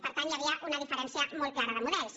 per tant hi havia una diferència molt clara de models